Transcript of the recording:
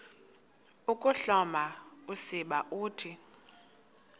ukuhloma usiba uthi